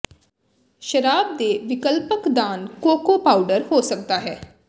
ਸ਼ਰਾਬ ਦੇ ਵਿਕਲਪਕ ਦਾਨ ਕੋਕੋ ਪਾਊਡਰ ਹੋ ਸਕਦਾ ਹੈ